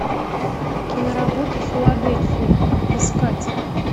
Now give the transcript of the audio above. киноработа филадельфия искать